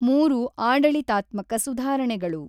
ಮೂರು ಆಢಳಿತಾತ್ಮಕ ಸುಧಾರಣೆಗಳು